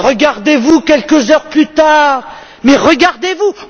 Et regardez vous quelques heures plus tard, mais regardez vous!